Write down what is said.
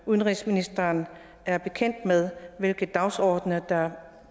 udenrigsministeren er bekendt med hvilke dagsordener der er